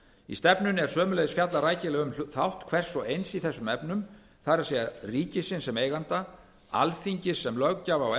í stefnunni er sömuleiðis fjallað rækilega um þátt hvers og eins í þessum efnum það er ríkisins sem eiganda alþingis sem löggjafar og